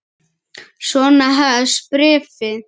Svona hefst bréfið